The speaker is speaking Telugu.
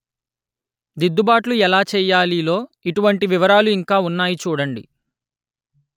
దిద్దుబాట్లు ఎలా చెయ్యాలి లో ఇటువంటి వివరాలు ఇంకా ఉన్నాయి చూడండి